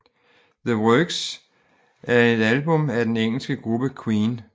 The Works er et album af den engelske gruppe Queen